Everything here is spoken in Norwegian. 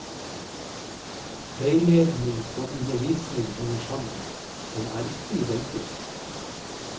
Veiledning og undervisning henger sammen, men er ikke identiske.